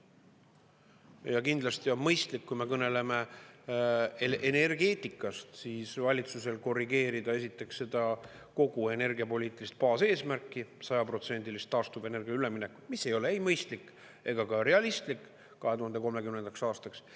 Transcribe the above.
Ja kindlasti on mõistlik, kui me kõneleme energeetikast, siis valitsusel korrigeerida esiteks seda kogu energiapoliitilist baaseesmärki, sajaprotsendilist taastuvenergiale üleminekut, mis ei ole ei mõistlik ega ka realistlik 2030. aastaks.